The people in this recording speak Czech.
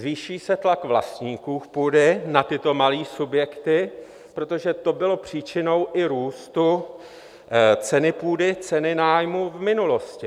Zvýší se tlak vlastníků půdy na tyto malé subjekty, protože to bylo příčinou i růstu ceny půdy, ceny nájmu v minulosti.